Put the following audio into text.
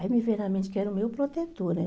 Aí me veio na mente que era o meu protetor, né?